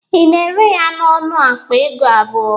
Ị na-ere ya n'ọnụ akpa ego abụọ?